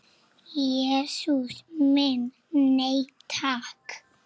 Jesús minn, nei takk.